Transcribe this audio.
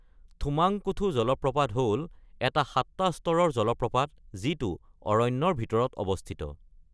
থোম্মাংকুথু জলপ্ৰপাত হ'ল এটা সাতটা স্তৰৰ জলপ্ৰপাত, যিটো অৰণ্যৰ ভিতৰত অৱস্থিত।